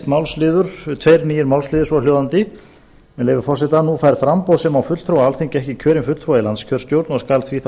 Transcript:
málsliður tveir nýir málsliðir svohljóðandi með leyfi forseta nú fær framboð sem á fulltrúa á alþingi ekki kjörinn fulltrúa í yfirkjörstjórn og skal því þá